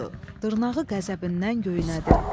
Dırnağı qəzəbindən göynədi.